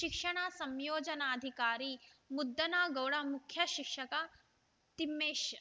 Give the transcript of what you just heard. ಶಿಕ್ಷಣ ಸಂಯೋಜನಾಧಿಕಾರಿ ಮುದ್ದನಗೌಡ ಮುಖ್ಯ ಶಿಕ್ಷಕ ತಿಮ್ಮೇಶ್‌